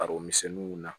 Bari misiw na